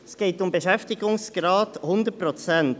Es geht um einen Beschäftigungsgrad von 100 Prozent.